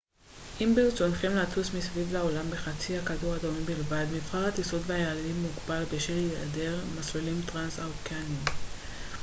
אם ברצונכם לטוס מסביב לעולם בחצי הכדור הדרומי בלבד מבחר הטיסות והיעדים מוגבל בשל היעדר מסלולים טרנס-אוקייניים